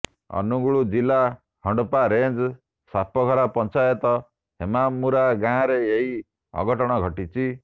ଅନୁଗୁଳ ଜିଲ୍ଲା ହଣ୍ଡପା ରେଞ୍ଜ ସାପଘରା ପଞ୍ଚାୟତ ହେମାମୁରା ଗାଁରେ ଏହି ଅଘଟଣ ଘଟିଛି